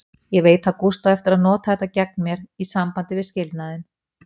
Ég veit að Gústi á eftir að nota þetta gegn mér, í sambandi við skilnaðinn.